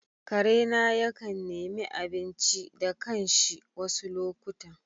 Karena yakan nemi abinci da kanshi wasu lokutan.